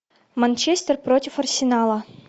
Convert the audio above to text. манчестер против арсенала